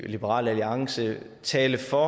liberal alliance taler for